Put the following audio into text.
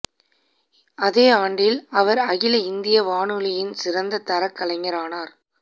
அதே ஆண்டில் அவர் அகில இந்திய வானொலியின் சிறந்த தரக் கலைஞரானார்